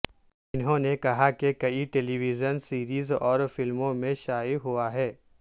انہوں نے کہا کہ کئی ٹیلی ویژن سیریز اور فلموں میں شائع ہوا ہے